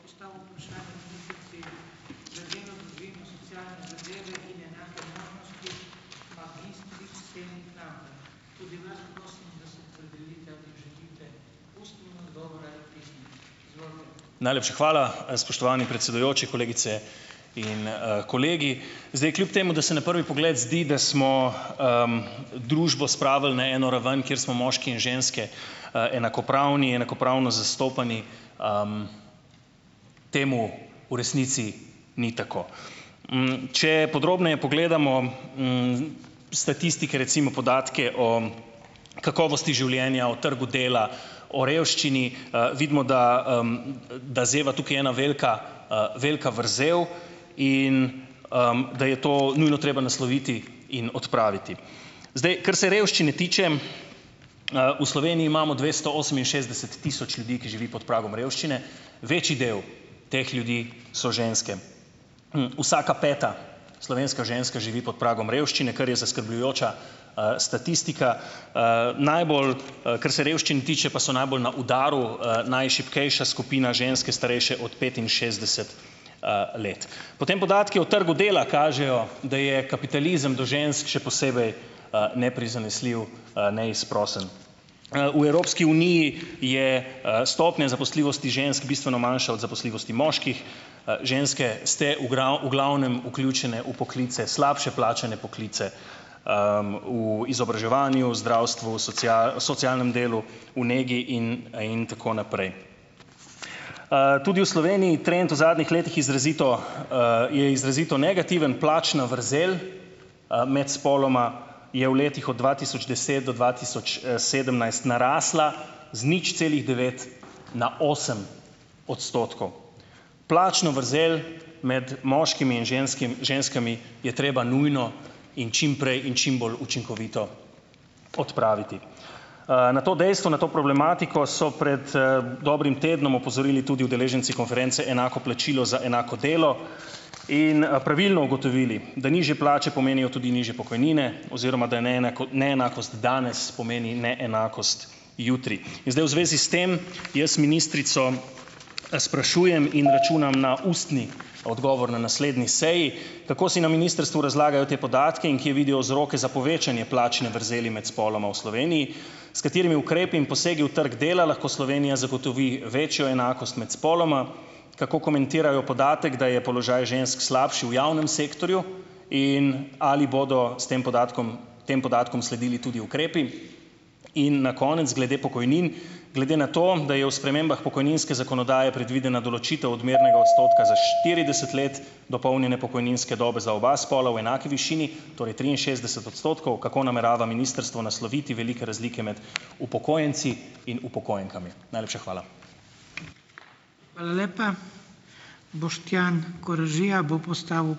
Najlepša hvala, spoštovani predsedujoči , kolegice in, kolegi. Zdaj, kljub temu da se na prvi pogled zdi, da smo, družbo spravili na eno raven, kjer smo moški in ženske, enakopravni, enakopravno zastopani, temu v resnici ni tako. če podrobneje pogledamo, statistike, recimo podatke o kakovosti življenja, o trgu dela, o revščini, vidimo, da, da zeva tukaj ena velika, velika vrzel in, da je to nujno treba nasloviti in odpraviti. Zdaj, kar se revščine tiče, v Sloveniji imamo dvesto oseminšestdeset tisoč ljudi, ki živi pod pragom revščine, večji del teh ljudi so ženske. vsaka peta slovenska ženska živi pod pragom revščine, kar je zaskrbljujoča, statistika. najbolj, kar se revščine tiče, pa so najbolj na udaru, najšibkejša skupina, ženske starejše od petinšestdeset, let. Potem podatki o trgu dela kažejo, da je kapitalizem do žensk še posebej, neprizanesljiv, neizprosen. v Evropski uniji je stopnja zaposljivosti žensk bistveno manjša od zaposljivosti moških. ženske ste v glavnem vključene v poklice, slabše plačane poklice, izobraževanju, zdravstvu, , socialnem delu, v negi in, in tako naprej. tudi v Sloveniji trend v zadnjih letih izrazito, je izrazito negativen. Plačna vrzel, med spoloma je v letih od dva tisoč deset do dva tisoč, sedemnajst narasla z nič celih devet na osem odstotkov. Plačno vrzel med moškimi in ženskami je treba nujno in čimprej in čim bolj učinkovito odpraviti. na to dejstvo, na to problematiko so prej, dobrim tednom opozorili tudi udeleženci konference Enako plačilo za enako delo in, pravilno ugotovili, da nižje plače pomenijo tudi nižje pokojnine oziroma da neenakost danes pomeni neenakost jutri. In zdaj v zvezi s tem jaz ministrico, sprašujem in računam na ustni odgovor na naslednji seji, kako si na ministrstvu razlagajo te podatke in kje vidijo vzroke za povečanje plačne vrzeli med spoloma v Sloveniji? S katerimi ukrepi in posegi v trg dela lahko Slovenija zagotovi večjo enakost med spoloma? Kako komentirajo podatek, da je položaj žensk slabši v javnem sektorju. In ali bodo s tem podatkom, tem podatkom sledili tudi ukrepi? In na konec, glede pokojnin. Glede na to, da je v spremembah pokojninske zakonodaje predvidena določitev odmernega odstotka za štirideset let dopolnjene pokojninske dobe za oba spola v enaki višini, torej triinšestdeset odstotkov. Kako namerava ministrstvo nasloviti velike razlike med upokojenci in upokojenkami? Najlepša hvala.